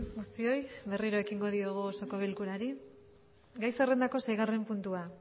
guztioi berriro ekingo diogu osoko bilkurari gai zerrendako seigarren puntua